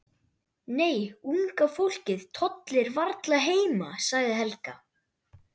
Nei, unga fólkið tollir varla heima sagði Helga.